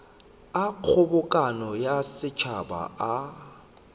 a kgobokano ya setšhaba a